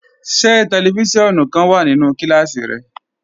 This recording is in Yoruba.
Ṣẹ tẹlífísiọ̀nù kan wà nínú kílásí rẹ?